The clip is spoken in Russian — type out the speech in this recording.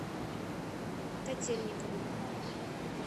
котельникову